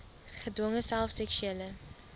gedwonge self seksuele